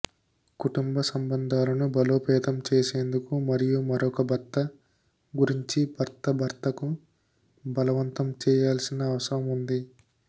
కుటుంబ సంబంధాలను బలోపేతం చేసేందుకు మరియు మరొక భర్త గురించి భర్త భర్తకు బలవంతం చేయాల్సిన అవసరం ఉంది